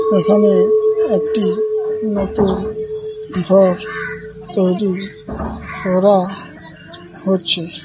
এখানে একটি নতুন ঘর তৈরি করা হচ্ছে।